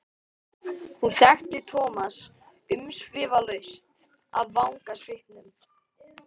Hún þekkti Thomas umsvifalaust af vangasvipnum.